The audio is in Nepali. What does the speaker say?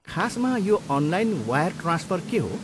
खासमा यो अनलाइन वायर ट्रान्सफर के हो?